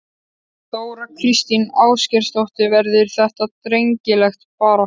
Þóra Kristín Ásgeirsdóttir: Verður þetta drengileg barátta?